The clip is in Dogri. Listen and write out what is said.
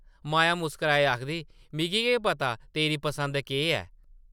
माया मुस्काराइयै आखदी, ‘‘मिगी केह् पता तेरी पसंद केह् ऐ?’’